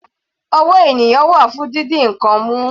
Ọwọ́ ènìyàn wà fún didi ǹkan mú.